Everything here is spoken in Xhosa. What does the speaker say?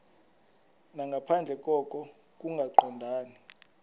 nangaphandle koko kungaqondani